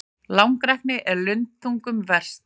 Langrækni er lundþungum verst.